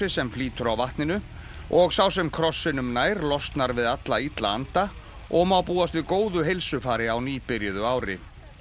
sem flýtur á vatninu og sá sem krossinum nær losnar við alla illa anda og má búast við góðu heilsufari á nýbyrjuðu ári